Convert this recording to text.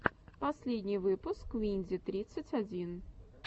последний выпуск винди тридцать один